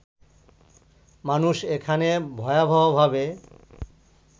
মানুষ এখানে ভয়াবহভাবে